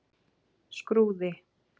Skrúði